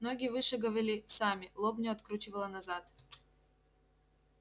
ноги вышагивали сами лобню откручивало назад